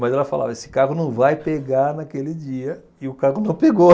mas ela falava, esse carro não vai pegar naquele dia e o carro não pegou.